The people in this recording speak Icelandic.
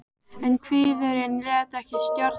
En kviðurinn lét ekki að stjórn.